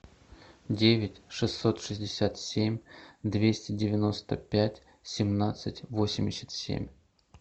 девять шестьсот шестьдесят семь двести девяносто пять семнадцать восемьдесят семь